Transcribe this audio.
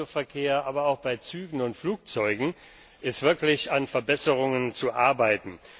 Beim Autoverkehr, aber auch bei Zügen und Flugzeugen ist wirklich an Verbesserungen zu arbeiten.